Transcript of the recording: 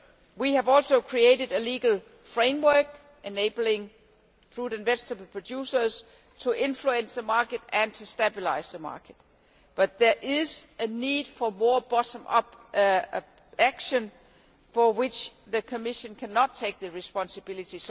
We have also created a legal framework enabling fruit and vegetable producers to influence and stabilise the market, but there is a need for more bottom up action, for which the Commission cannot take the responsibility.